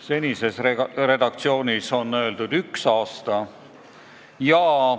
Senises redaktsioonis piisab ühest aastast.